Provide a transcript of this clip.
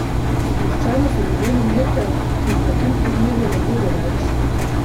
Sproščeno so zadeli mete, ki jih na tem turnirju ne bodo več!